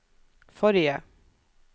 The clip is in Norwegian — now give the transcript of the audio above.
forrige